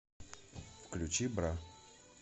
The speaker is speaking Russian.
включи бра